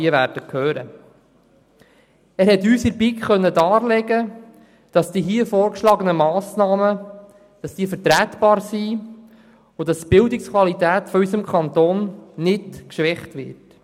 Der Erziehungsdirektor konnte uns in der BiK darlegen, dass die hier vorgeschlagenen Massnahmen vertretbar sind und die Bildungsqualität in unserem Kanton nicht geschwächt wird.